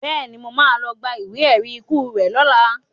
Bẹ́ẹ̀ni, mo má lọ gba ìwé ẹ̀rí ikú rẹ lọla